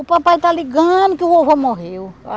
O papai está ligando que o vovô morreu.